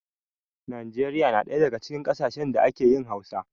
Nijeriya na daya daga cikin ƙasashen da ake yin Hausa.